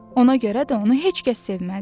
Ona görə də onu heç kəs sevməzdi.